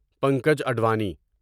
Pankaj Advani